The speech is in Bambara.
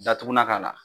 Datugulan k'a la